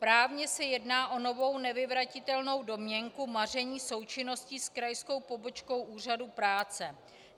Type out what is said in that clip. Právně se jedná o novou nevyvratitelnou domněnku maření součinnosti s krajskou pobočkou úřadu práce.